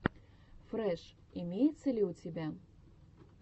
фрэш имеется ли у тебя